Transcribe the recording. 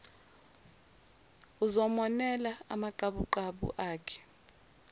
uzomonela amaqabuqabu akhe